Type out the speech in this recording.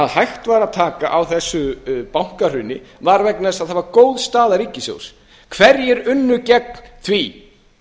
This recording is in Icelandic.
hægt var að taka á þessu bankahruni var vegna þess að það var góð staða ríkissjóðs hverjir unnu gegn því